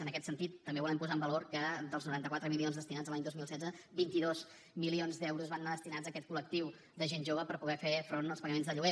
en aquest sentit també volem posar en valor que dels noranta quatre milions destinats a l’any dos mil setze vint dos milions d’euros van anar destinats a aquest col·lectiu de gent jove per poder fer front als pagaments de lloguer